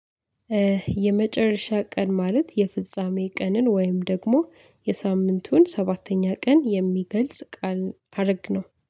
የመጨረሻ ቀን ማለት የፍጻሜ ቀንን ወይም ደግሞ የሳምንቱን ሰባተኛ ቀን የሚገልጽ ቃል አደረግነው